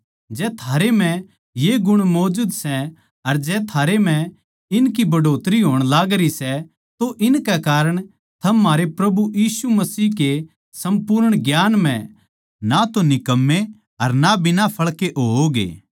जै थारै म्ह ये गुण मौजूद सै अर जै थारे म्ह इनकी बढ़ोतरी होण लागरी सै तो इनके कारण थम म्हारे प्रभु यीशु के सम्पूर्ण ज्ञान म्ह ना तो निकम्मे अर ना बिना फळ के होओगे